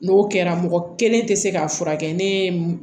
N'o kɛra mɔgɔ kelen tɛ se k'a furakɛ ne ye m